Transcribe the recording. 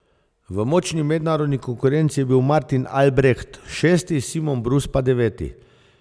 V močni mednarodni konkurenci je bil Martin Albreht šesti, Simon Brus pa deveti.